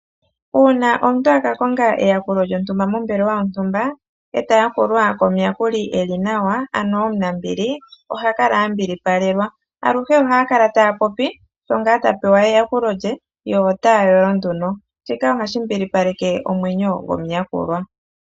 Uuna omuntu a ka konga eyakulo lyontumba mombelewa yontumba, e ta yakulwa komuyakuli eli nawa ano omunambili , oha kala a mbilipalelwa, aluhe ohaya kala taya popi sho ngaa ta pewa eyakulo lye yo otaya yolo nduno. Shika ohashi mbilipaleke omwenyo gomuyakulwa.